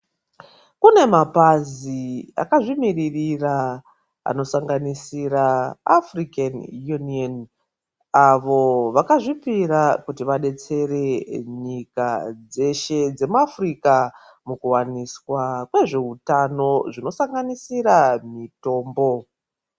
Kune mapazi akazvimirira anosanganisira afurikeni uniyeni avo vakazvipira kuti vadetsere nyika dzeshe dzemuafurika mukuwaniswa kwezveutano zvinosanganisira mitombo.